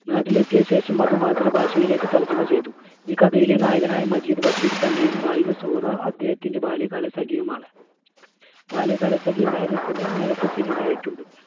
നാട്ടിലെത്തിയശേഷം അതു മാതൃഭാഷയിലേക്ക് തർജ്ജമ ചെയ്തു. ഈ കഥയിലെ നായകനായ മജീദ് ബഷീർ തന്നെയും നായിക സുഹറ അദ്ദേഹത്തിൻറെ ബാല്യകാലസഖിയുമാണ്. ബാല്യകാലസഖി നേരത്തിന് നേരത്തെ cinema യായിട്ടുണ്ട്